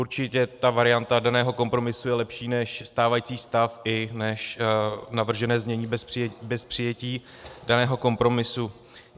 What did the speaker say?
Určitě ta varianta daného kompromisu je lepší než stávající stav i než navržené znění bez přijetí daného kompromisu.